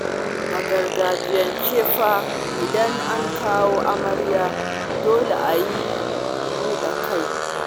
A gargajiyance fa, idan an kawo amarya dole a yi buɗar kai